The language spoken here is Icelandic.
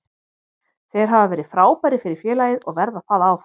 Þeir hafa verið frábærir fyrir félagið og verða það áfram.